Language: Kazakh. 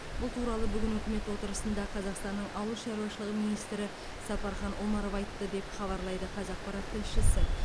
бұл туралы бүгін үкімет отырысында қазақстанның ауыл шаруашылығы министрі сапархан омаров айтты деп хабарлайды қазақпарат тілшісі